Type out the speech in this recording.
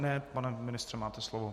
Ne, pane ministře, máte slovo.